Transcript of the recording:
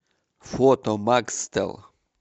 фото макстел